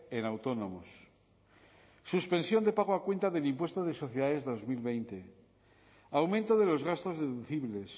en autónomos suspensión de pago a cuenta del impuesto de sociedades dos mil veinte aumento de los gastos deducibles